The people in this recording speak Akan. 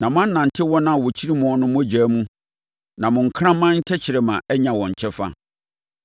na moanante wɔn a wɔkyiri moɔ no mogya mu na mo nkraman tɛkrɛma anya wɔn kyɛfa.”